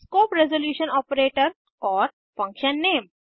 scope resolution operator और function नामे